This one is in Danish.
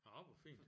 Nå hvor fint